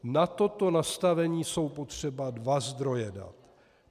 Na toto nastavení jsou potřeba dva zdroje dat.